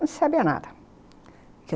Não se sabia nada.